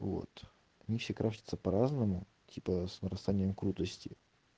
вот они все красятся по-разному типа с нарастанием крутости